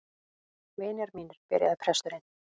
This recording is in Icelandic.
Vinir mínir, byrjaði presturinn.